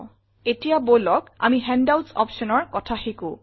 ltPAUSEgt এতিয়া বলক আমি হেণ্ডআউটছ optionৰ কথা শিকো